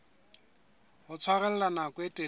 ho tshwarella nako e telele